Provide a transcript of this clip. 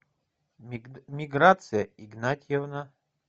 миграция игнатьевна